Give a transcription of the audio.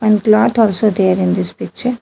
And cloth also there in this picture.